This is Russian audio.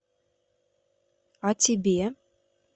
а тебе